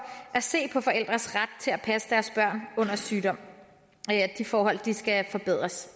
at se på forældres ret til at passe deres børn under sygdom de forhold skal forbedres